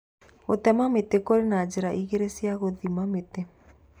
Gũtema mĩtĩ - Kũrĩ na njĩra igĩrĩ cia gũthima mĩtĩ